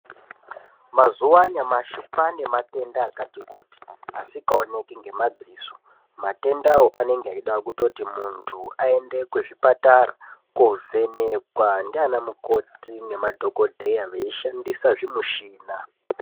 Mazuwa anyamashi kwane matenda akati kuti asingaoneki ngemadziso matendawo anenge eida kuti mundu aende kuzvichipatara kovhenekwa ndiana mukoti nemadhokodheya veishandisa zvimushina.